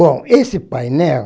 Bom, esse painel...